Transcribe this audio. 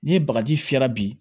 Ni bagaji fiyɛra bi